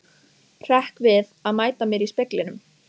Hrekk við að mæta mér í speglinum.